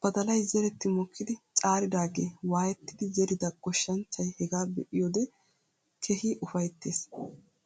Badalay zeretti mokkidi caariidaagee waayettidi zerida goshshanchchay hegaa be"iyoodee keehi ufayttes.